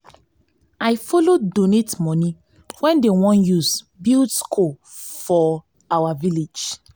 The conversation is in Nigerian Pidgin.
i follow donate moni wey dem wan use build skool for we village.